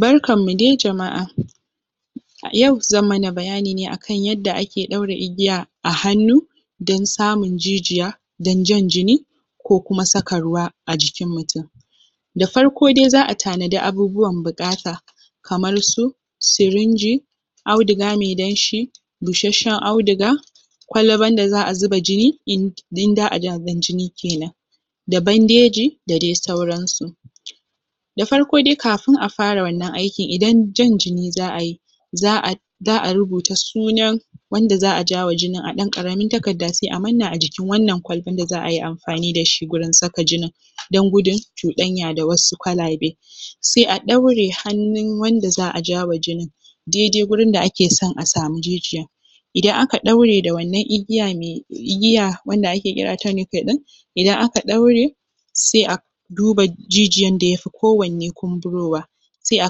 Barkanmu de jama’a a yau zan mana bayani ne akan yadda ake ɗaure igiya a hannu don samun jijiya don jan jini ko kuma saka ruwa a jikin mutum da farko dai za a tanadi abubuwan buƙata kamar su sirinji auduga me danshi bushasshen auduga kwalban da za a zuba jini Abin jini kenan da bandeji da de sauransu da farko dai kafin a fara wannan aikin idan jan jini za a yi za a za a rubuta sunan wanda za a ja wa jinin a ɗan ƙaramin takarda sai a manna a jikin wannan kwalban da za a yi amfani da shi gurin saka jinin don gudun cuɗanya da wasu kwalabe sai a ɗaure hannun wanda za a jawa jinin, daidai gurin da ake son a samu jijiyan idan aka ɗaure da wannan igiya me, igiya wanda ake kira ɗin, idan aka ɗaure se a duba jijiyan da yafi kowanne kumburowa sai a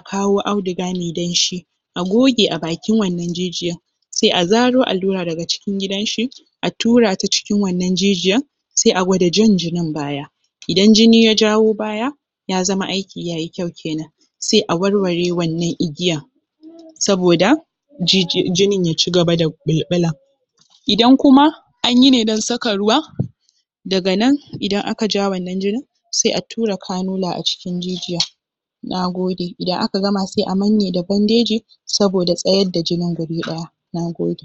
kawo auduga me danshi a goge a bakin wannan jijiyan sai a zaro allura daga cikin gidanshi a tura ta cikin wannan jijiyan se a gwada jan jinin baya idan jini ya jawo baya ya zama aiki ya yi kyau kenan sai a warware wannan igiyan saboda jijiyan jinin ya cigaba da ɓulɓula idan kuma an yi ne don saka ruwa daga nan idan aka ja wannan jinin se a tura kanula a cikin jijiya nagode idan aka gama sai a manne da bandeji saboda tsayar da jinin guri ɗaya nagode